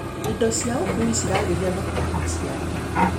Indo ciaũkui ciragĩria thoko ya maciaro.